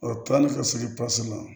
O kilali ka segi la